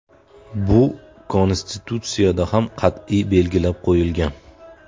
Bu Konstitutsiyada ham qat’iy belgilab qo‘yilgan.